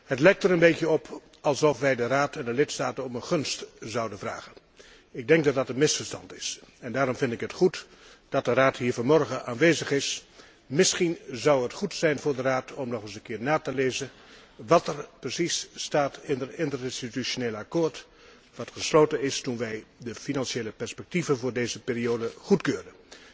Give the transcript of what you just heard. Het lijkt er een beetje op alsof wij de Raad en de lidstaten om een gunst vragen. Ik denk dat dat een misverstand is. Daarom vind ik het goed dat de Raad hier vanmorgen aanwezig is. Misschien zou het goed zijn voor de Raad om nog eens een keer na te lezen wat er precies staat in het interinstitutioneel akkoord dat is gesloten is toen wij de financiële vooruitzichten voor deze periode goedkeurden.